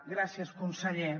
gràcies conseller